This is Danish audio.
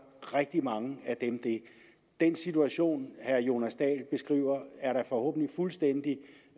rigtig mange af dem det den situation herre jonas dahl beskriver er da forhåbentlig fuldstændig